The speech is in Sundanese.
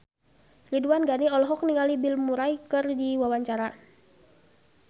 Ridwan Ghani olohok ningali Bill Murray keur diwawancara